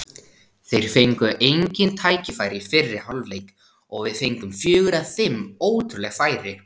Þeir fengu engin tækifæri í fyrri hálfleik og við fengum fjögur eða fimm ótrúleg færi.